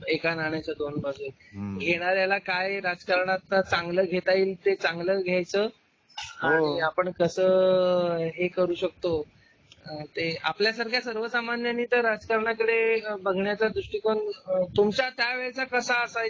एका नाण्याच्या दोन बाजू घेणाऱ्याला काय राजकारणाचा चांगला घेता येईल ते चांगल्या घ्यायचं हे करू शकतो ते आपल्या सर्वसामान्य राजकारणाकडे बघण्याचा दृष्टिकोन तुमच्या वेळेचा कसा असाय